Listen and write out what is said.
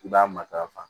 I b'a matarafa